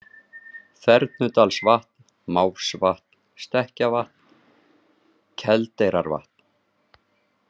Þernudalsvatn, Mávsvatn, Stekkjavatn, Keldeyrarvatn